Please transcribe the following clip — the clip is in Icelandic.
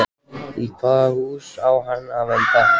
Í hvaða hús á hann að venda?